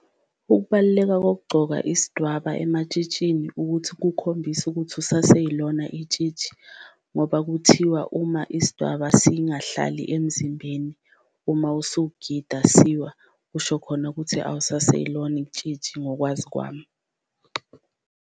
Ukubaluleka kokugcoka isdwaba ematshitshini ukuthi kukhombisa ukuthi usaseyilona itshitshi ngoba kuthiwa uma isdwaba singahlali emzimbeni uma usugida siwa, kusho khona ukuthi awusaseyilona itshitshi ngokwazi kwami.